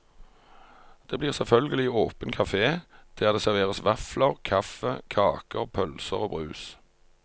Det blir selvfølgelig åpen kafé, der det serveres vafler, kaffe, kaker, pølser og brus.